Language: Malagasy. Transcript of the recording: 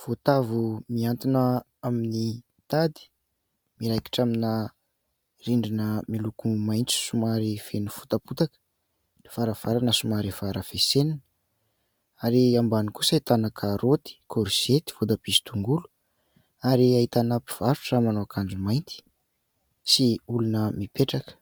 voatavo miantona amin'ny tady. Miraikitra amina rindrina miloko maitso somary feno fota-potaka, varavarana somary harafesenina, ary ambany kosa ahitana karaoty, korizety, voatabia sy tongolo ary ahitana mpivarotra manao akanjo mainty sy olona mipetraka.